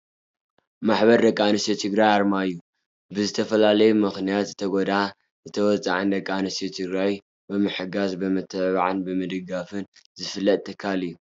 ማሕበር ደቂ ኣንስትዮ ትግራይ ኣርማ እዩ ። ብዝተፈላለዩ ምክንያት ዝተጎዳኣ ዝተወፃዓን ደቂ ኣንስትዮ ትግራይ ብምሕጋዝን ብምትብባዕን ብምድጋፍን ዝፍለጥ ትካል እዩ።